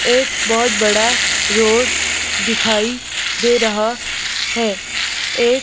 एक बहुत बड़ा रोड दिखाई दे रहा है एक--